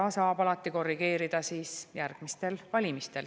Seda saab alati korrigeerida järgmistel valimistel.